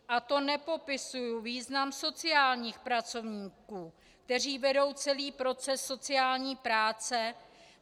A to nepopisuji význam sociálních pracovníků, kteří vedou celý proces sociální práce.